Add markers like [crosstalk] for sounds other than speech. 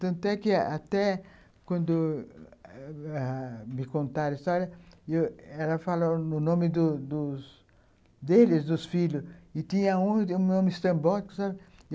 Tanto é que até quando [unintelligible] me contaram a história, ela falou o nome dos dos deles, dos filhos, e tinha o nome estrambólico, sabe?